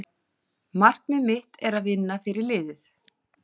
Markmið mitt er að vinna fyrir liðið.